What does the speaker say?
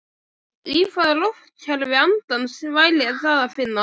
Í hvaða lotukerfi andans væri það að finna?